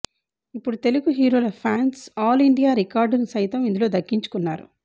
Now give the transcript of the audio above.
ఇప్పుడు తెలుగు హీరోల fans all India record ను సైతం ఇందులో దక్కించుకున్నారు